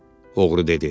Oğru dedi.